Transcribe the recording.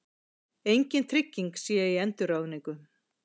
Engin trygging sé á endurráðningu